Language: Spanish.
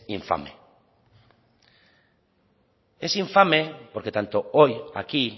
infame es infame porque tanto hoy aquí